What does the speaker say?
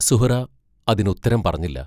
സുഹ്റാ അതിന് ഉത്തരം പറഞ്ഞില്ല.